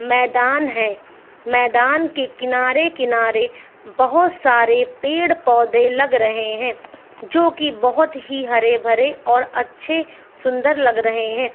मैदान हैं मैदान के किनारे-कनारे बोहोत बहु सारे पेड़-पौधे लग रहे हैं जो की बोहोत ही हरे-भरे और अच्छे सुंदर लग रहे हैं।